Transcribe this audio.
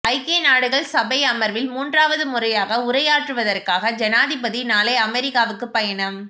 ஐக்கிய நாடுகள் சபை அமர்வில் மூன்றாவது முறையாக உரையாற்றுவதற்காக ஜனாதிபதி நாளை அமெரிக்காவுக்கு பயணம்